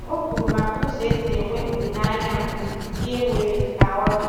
O kwuru maka ụzọ esi enwe olileanya mgbe ihe nwere ka ọ dị